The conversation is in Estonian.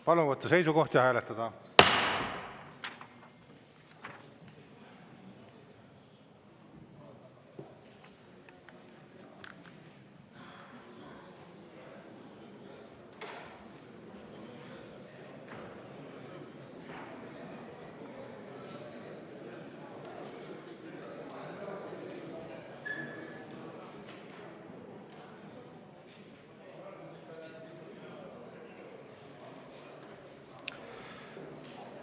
Palun võtta seisukoht ja hääletada!